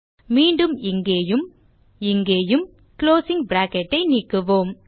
மீண்டும் இங்கேயும் இங்கேயும் குளோசிங் பிராக்கெட் ஐ நீக்குவோம்